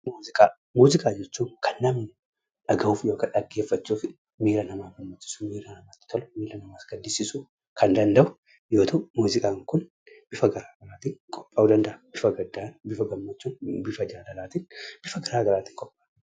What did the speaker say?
Muuziqaa. Muuziqaa jechuun kan namni dhaga'uuf yookaan dhaggeeffachuuf miiraa nama hawwisisuu, miiraa nama gammachisuu, akkasumaas miira nama gaddisisuu kan danda'u yoo ta'u, muuziqaa kun bifa gara garaattin qopha'uu danda'a. Bifa gaddaan, bifa gaammachuun, bifa jaalalatiin bifa gara garaatiin qophaa'a.